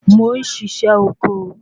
Mo ń sisẹ́ oko